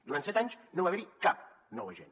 durant set anys no va haver hi cap nou agent